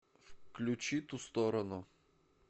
включи ту сторону